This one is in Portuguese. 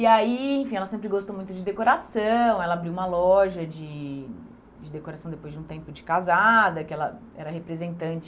E aí, enfim, ela sempre gostou muito de decoração, ela abriu uma loja de decoração depois de um tempo de casada, que ela era representante